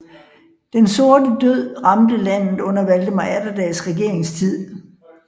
Den sorte død ramte landet under Valdemar Atterdags regeringstid